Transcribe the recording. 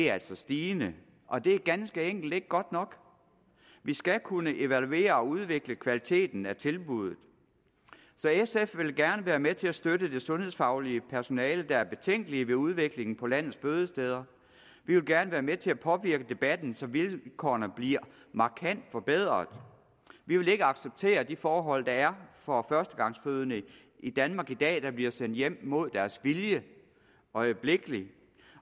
er stigende og det er ganske enkelt ikke godt nok vi skal kunne evaluere og udvikle kvaliteten af tilbuddet så sf vil gerne være med til at støtte det sundhedsfaglige personale der er betænkelige ved udviklingen på landets fødesteder vi vil gerne være med til at påvirke debatten så vilkårene bliver markant forbedret vi vil ikke acceptere de forhold der er for førstegangsfødende i danmark i dag der bliver sendt hjem mod deres vilje øjeblikkeligt